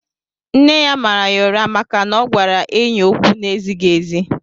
Nne ya màrà yá ụrá màkà na ọ gwara enyị ókwú n'ezighị ézi